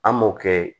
An m'o kɛ